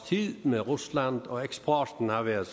tid med rusland og eksporten har været